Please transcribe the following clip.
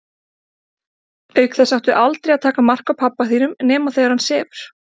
Auk þess áttu aldrei að taka mark á pabba þínum nema þegar hann sefur.